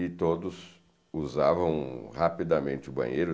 E todos usavam rapidamente o banheiro.